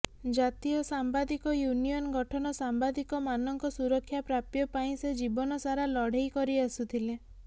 ଜାତୀୟ ସାମ୍ବାଦିକୟୁନିଅନ ଗଠନ ସାମ୍ବାଦିକମାନଙ୍କ ସୁରକ୍ଷା ପ୍ରାପ୍ୟ ପାଇଁ ସେ ଜୀବନସାରା ଲଢ଼େଇ କରି ଆସୁଥିଲେ